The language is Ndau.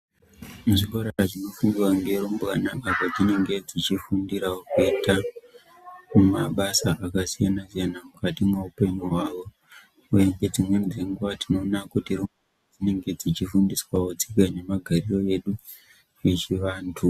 Muzvikora zvinofundirwa ngerumbwana, apo dzinenge dzichifundirawo kuita mabasa akasiyana-siyana, mukati mweupenyu hwawo, uye ngedzimweni dzenguwa, tinoona kuti dzinenge dzichifundiswawo tsika nemagarire edu, echianthu.